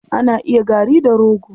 Ana yin gari da rogo.